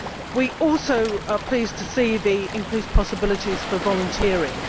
We are also pleased to see the increased possibilities for volunteering.